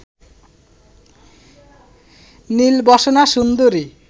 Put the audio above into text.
নীলবসনা সুন্দরী